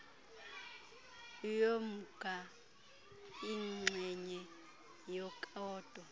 yomnga ingxenye yekota